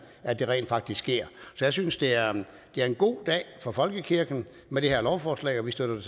rent faktisk sker så jeg synes det er en god dag for folkekirken med det her lovforslag og vi støtter